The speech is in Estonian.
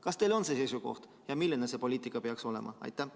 Kas teil on see seisukoht ja milline see poliitika peaks olema?